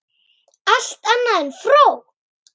Allt annað en fró!